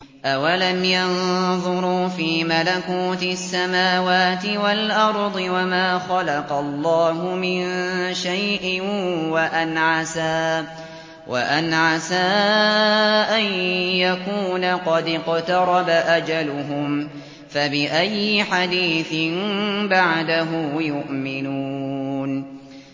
أَوَلَمْ يَنظُرُوا فِي مَلَكُوتِ السَّمَاوَاتِ وَالْأَرْضِ وَمَا خَلَقَ اللَّهُ مِن شَيْءٍ وَأَنْ عَسَىٰ أَن يَكُونَ قَدِ اقْتَرَبَ أَجَلُهُمْ ۖ فَبِأَيِّ حَدِيثٍ بَعْدَهُ يُؤْمِنُونَ